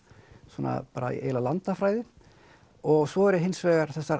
svona bara eiginlega landafræði og svo eru hins vegar þessar